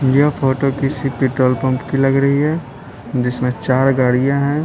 ये फोटो किसी petrol pump की लग रही है जिसमें चार गाड़ियां हैं।